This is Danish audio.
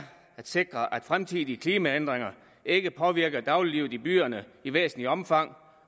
at sikre at fremtidige klimaændringer ikke påvirker dagliglivet i byerne i væsentligt omfang